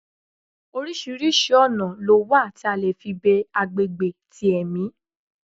Oríṣiríṣi oná lo wa tí a le fí be agbegbe ti ẹmí